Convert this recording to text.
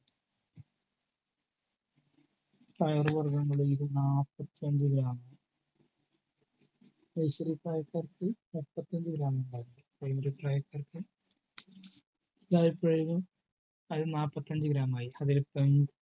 പയർ വർഗങ്ങളിൽ നിന്ന് നാല്പത്തഞ്ചു gram nursery പ്രായക്കാർക്ക് മുപ്പത്തഞ്ചു gram ഉണ്ടായിരുന്നു primary പ്രായക്കാർക്ക് അതിൽ നാല്പത്തഞ്ചു gram ആയി. അതിൽ പയർ വർഗ്ഗങ്ങൾക്ക്